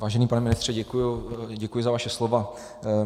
Vážený pane ministře, děkuji za vaše slova.